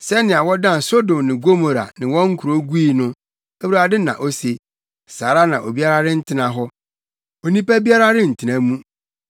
Sɛnea wɔdan Sodom ne Gomora ne wɔn nkurow gui no,” Awurade na ose, “saa ara na obiara rentena hɔ; onipa biara rentena mu.